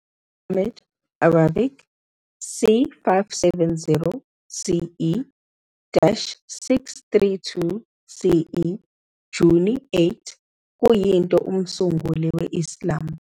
Muhammad, Arabic, c 570 CE - 632 CE Juni 8, kuyinto umsunguli we Islam.